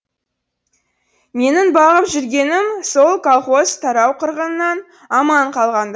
менің бағып жүргенім сол колхоз тарау қырғынынан аман қалғанда